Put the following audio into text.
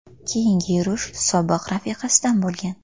Keyingi yurish sobiq rafiqasidan bo‘lgan.